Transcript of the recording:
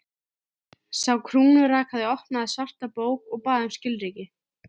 Sá krúnurakaði opnaði svarta bók og bað um skilríki.